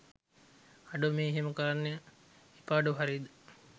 අඩෝ මේ එහෙම කරන්න එපාඩෝ හරිද?